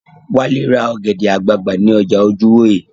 Wálé ra ọ̀gẹ̀dẹ̀ àgbagbà ní ọjà Ojúwòyè